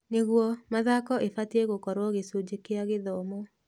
Nĩguo, mathako ĩbatie gũkorwo gĩcunjĩ kĩa gĩthomo